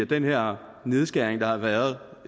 den her nedskæring der har været